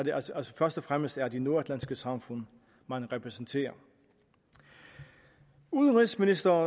altså først og fremmest er de nordatlantiske samfund man repræsenterer udenrigsministeriet